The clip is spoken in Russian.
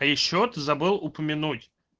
а ещё ты забыл упомянуть